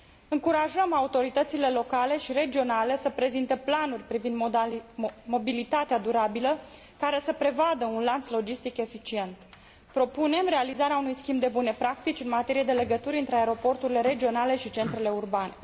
Încurajăm autoritățile locale și regionale să prezinte planuri privind mobilitatea durabilă, care să prevadă un lanț logistic eficient. Propunem realizarea unui schimb de bune practici în materie de legături între aeroporturile regionale și centrele urbane.